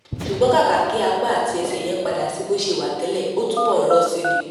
ṣùgbọ́n kàkà kí apá àti ẹsẹ yẹn padà sí bó ṣe wà tẹ́lẹ̀ ó túbọ̀ ń rọ̀ sí i ni